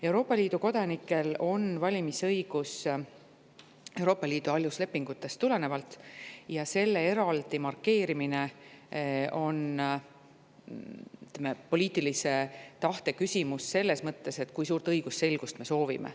Euroopa Liidu kodanikel on valimisõigus Euroopa Liidu aluslepingutest tulenevalt ja selle eraldi markeerimine on poliitilise tahte küsimus selles mõttes, kui suurt õigusselgust me soovime.